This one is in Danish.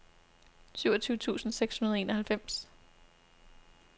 syvogtyve tusind seks hundrede og enoghalvfems